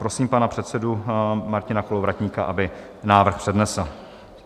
Prosím pana předsedu Martina Kolovratníka, aby návrh přednesl.